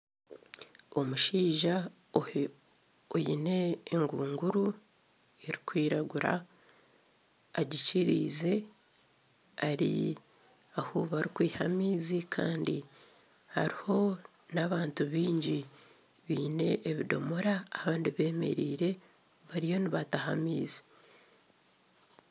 Omushaija oine engunguru erikwiragura agikiriize ari ahu barikwiha amaizi kandi hariho n'abantu baingi baine ebidomora Kandi bemereire bariho nibataha amaizi